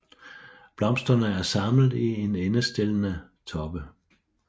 Blomsterne er samlet i endestillede toppe